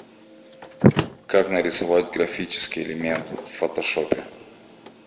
как нарисовать графический элемент в фотошопе